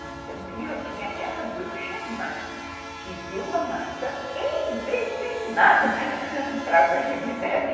Então, tinha aquela bruxa má que deu a maçã envenenada para a branca de neve.